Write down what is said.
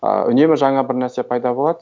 ыыы үнемі жаңа бір нәрсе пайда болады